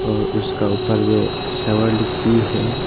और उसका ऊपर में भी है।